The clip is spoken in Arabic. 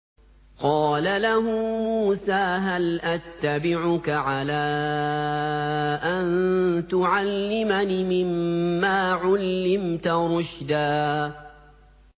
قَالَ لَهُ مُوسَىٰ هَلْ أَتَّبِعُكَ عَلَىٰ أَن تُعَلِّمَنِ مِمَّا عُلِّمْتَ رُشْدًا